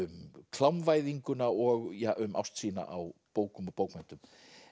um klámvæðinguna og um ást sína á bókum og bókmenntum